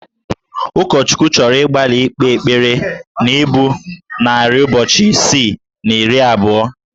Ụkọchukwu chọrọ ịgbalị ikpe ekpere na ibu narị ụbọchị isii na iri abụọ